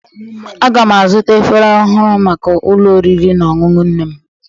Aga m azụta efere ọhụrụ maka ụlọ oriri na ọṅụṅụ nne m